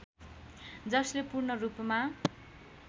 जसले पूर्णरूपमा